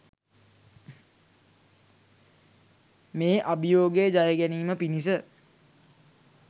මේ අභියෝගය ජයගැනීම පිණිස